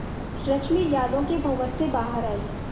रश्मि यादों के भंवर से बाहर आई